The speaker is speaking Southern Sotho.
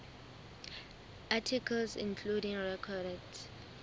articles including recorded